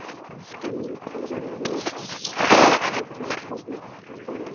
Kamilla pírði augun eitt stundarkorn og dauðaþögn ríkti í stofunni.